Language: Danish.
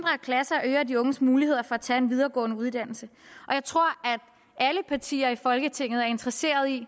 klasser øger de unges muligheder for at tage en videregående uddannelse og jeg tror at alle partier i folketinget er interesseret i